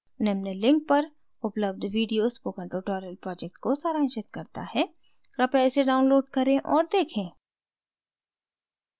निम्न link पर उपलब्ध video spoken tutorial project को सारांशित करता है कृपया इसे download करें और देखें